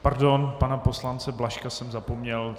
Pardon, pana poslance Blažka jsem zapomněl.